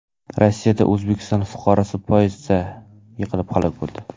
Rossiyada O‘zbekiston fuqarosi poyezddan yiqilib halok bo‘ldi.